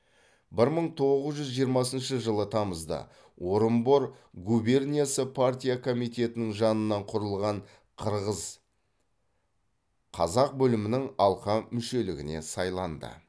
бір мың тоғыз жүз жиырмасыншы жылы тамызда орынбор губерниясы партия комитетінің жанынан құрылған қырғыз қазақ бөлімінің алқа мүшелігіне сайланды